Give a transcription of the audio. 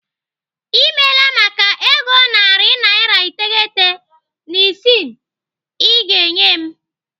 I meela maka ego narị naira iteghete na isii I ga-enye m.